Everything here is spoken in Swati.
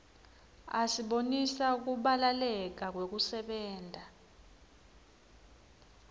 asibonisa kubalaleka kwekusebenta